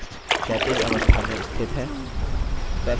text क्षैतिज अवस्था में स्थित है